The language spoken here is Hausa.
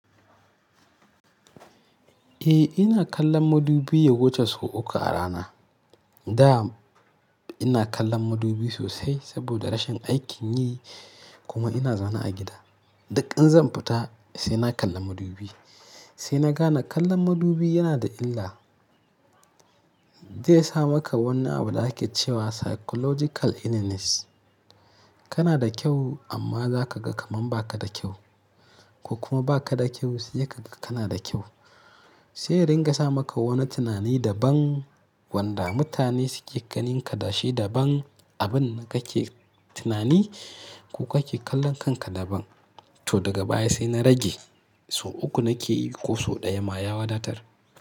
Eh ina kallon madubi ya wuce sau uku a rana. Da ina kallon madubi sosai saboda rashin aikin yi kuma ina zaune a gida. Duk in zan fita sai na kalla madubi. Sai na gane kallon madubi yana da illa. Zai sa maka wani abu da ake cewa psychological illness. Kana da kyau amma za ka ga kamar ba ka da kyau, ko kuma ba ka da kyau sai ka ga kana da kyau. Sai ya ringa sa maka wani tunani daban wanda mutane suke ganin ka da shi daban, abin da kake tunani ko kake kallon kanka daban. To daga baya sai na rage, sau uku nake yi ko sau ɗaya ma ya wadatar.